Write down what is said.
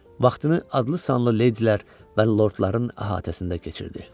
Vaxtını adlı-sanlı leydilər və lordların əhatəsində keçirdi.